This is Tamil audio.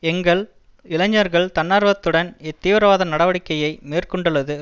எங்கள் இளைஞர்கள் தன்னார்வத்துடன் இத்தீவிரவாத நடவடக்கையை மேற்கொண்டுள்ளது